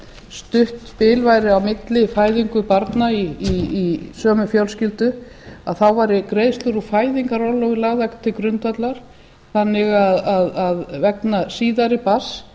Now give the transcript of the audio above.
stutt bil væri á milli fæðingu barna í sömu fjölskyldu að þá væru greiðslur úr fæðingarorlofi lagðar til grundvallar þannig að vegna síðari barns